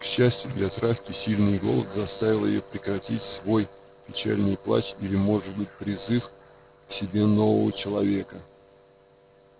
к счастью для травки сильный голод заставил её прекратить свой печальный плач или может быть призыв к себе нового человека